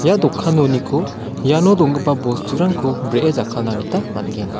ia dokanoniko iano donggipa bosturangko bree jakkalna gjta man·gen.